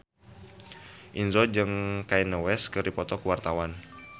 Indro jeung Kanye West keur dipoto ku wartawan